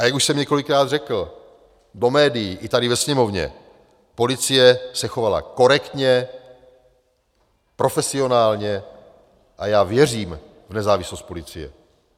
A jak už jsem několikrát řekl do médií i tady ve Sněmovně, policie se chovala korektně, profesionálně a já věřím v nezávislost policie.